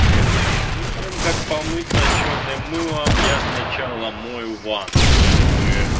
перед тем как помыться чёрным мылом я сначала мою ванную чтобы